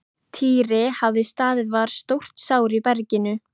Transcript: Týri hafði staðið var stórt sár í berginu.